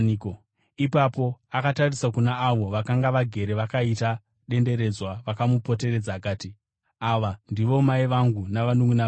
Ipapo akatarisa kuna avo vakanga vagere vakaita denderedzwa vakamupoteredza akati, “Ava ndivo mai vangu navanunʼuna vangu!